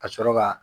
Ka sɔrɔ ka